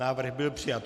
Návrh byl přijat.